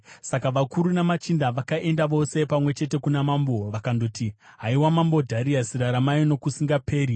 Saka vakuru namachinda vakaenda vose pamwe chete kuna mambo vakandoti, “Haiwa Mambo Dhariasi, raramai nokusingaperi!